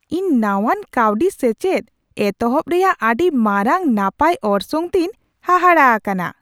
ᱤᱧ ᱱᱟᱶᱟᱱ ᱠᱟᱹᱣᱰᱤ ᱥᱮᱪᱮᱫ ᱮᱛᱚᱦᱚᱵ ᱨᱮᱭᱟᱜ ᱟᱹᱰᱤ ᱢᱟᱨᱟᱝ ᱱᱟᱯᱟᱭ ᱚᱨᱥᱚᱝ ᱛᱮᱧ ᱦᱟᱦᱟᱲᱟ ᱟᱠᱟᱱᱟ ᱾